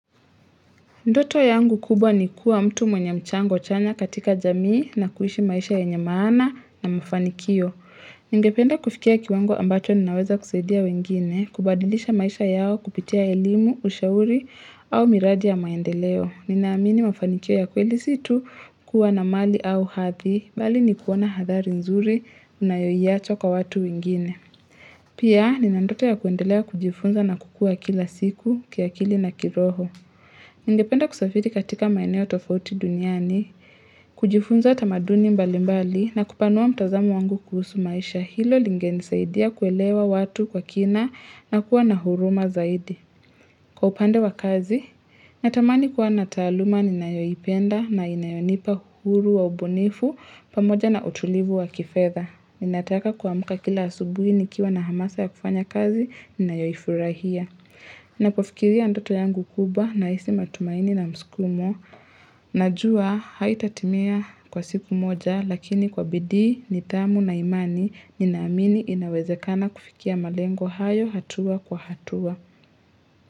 Ndoto yangu kubwa ni kuwa mtu mwenye mchango chanya katika jamii na kuishi maisha yenye maana na mafanikio. Ningependa kufikia kiwango ambacho ninaweza kusaidia wengine, kubadilisha maisha yao kupitia elimu, ushauri au miradi ya maendeleo. Ninaamini mafanikio ya kweli si tu kuwa na mali au hadhi, bali ni kuoana hadhari nzuri unayoiacha kwa watu wengine. Pia, ninandoto ya kuendelea kujifunza na kukua kila siku, kiakili na kiroho. Ningependa kusafiri katika maeneo tofauti duniani, kujifunza tamaduni mbali mbali na kupanua mtazamo wangu kuhusu maisha hilo lingenisaidia kuelewa watu kwa kina na kuwa na huruma zaidi. Kwa upande wa kazi, natamani kuwa nataaluma ninayoipenda na inayonipa uhuru wa ubunifu pamoja na utulivu wa kifedha. Ninataka kuamka kila asubuhi nikiwa na hamasa ya kufanya kazi, ninayoifurahia. Ninapofikiria ndoto yangu kubwa nahisi matumaini na mskumo. Najua haitatimia kwa siku moja lakini kwa bidii, nidhamu na imani, ninaamini inawezekana kufikia malengo hayo hatua kwa hatua.